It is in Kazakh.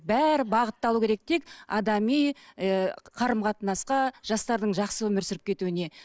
бәрі бағытталуы керек тек адами ы қарым қатынасқа жастардың жақсы өмір сүріп кетуіне